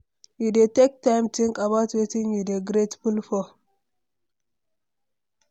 You dey take time think about wetin you dey grateful for?